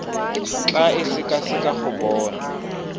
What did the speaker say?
tla e sekaseka go bona